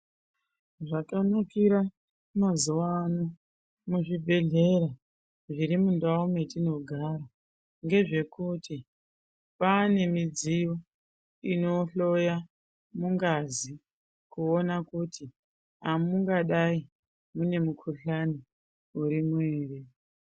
Zvakanakira mazuvano muzvibhedhlera zvirimundau metinogara ngezvekuti kwaane midziyo inohloya mungazi kuona kuti hamungadai mune mikuhlani urimo here.